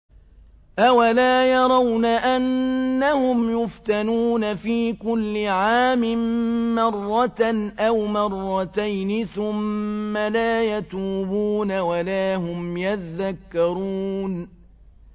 أَوَلَا يَرَوْنَ أَنَّهُمْ يُفْتَنُونَ فِي كُلِّ عَامٍ مَّرَّةً أَوْ مَرَّتَيْنِ ثُمَّ لَا يَتُوبُونَ وَلَا هُمْ يَذَّكَّرُونَ